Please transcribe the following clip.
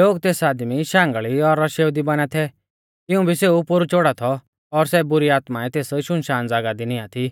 लोग तेस आदमी शांगल़ी और रशेउ दी बाना थै तिंऊ भी सेऊ पोरु च़ोड़ा थौ और सै बुरी आत्माऐं तेस शुनशान ज़ागाह दी नियां थी